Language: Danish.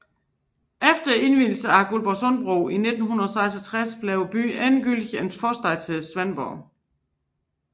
Efter indvielsen af Svendborgsundbroen i 1966 blev byen endegyldigt en forstad til Svendborg